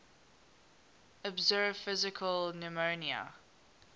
observed physical phenomena